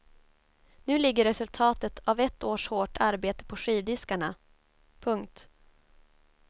Nu ligger resultatet av ett års hårt arbete på skivdiskarna. punkt